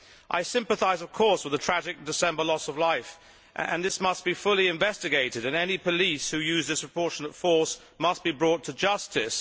I sympathise, of course, with the tragic loss of life in December, and this must be fully investigated and any police who use disproportionate force must be brought to justice.